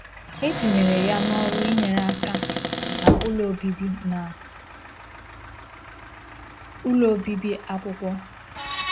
E tinyere ya n’ọrụ inyere aka na ụlọ obibi na ụlọ obibi akwụkwọ.